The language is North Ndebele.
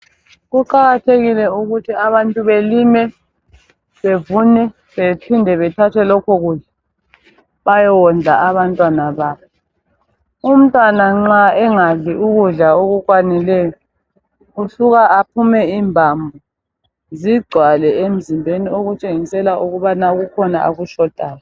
Kuqakathekile ukuthi abantu balime ,bevune bephinde bathathe lokho kudla bayewondla abantwana babo. Umntwana nxa engadli ukudla okukwanileyo usuke aphume imbambo zigcwale emzimbeni okutshengisela ukubana kukhona okushotayo..